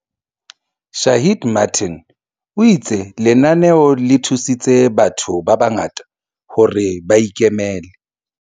Shaheed Martin, o itse lenaneo le thusitse batho ba bangata hore ba ikemele.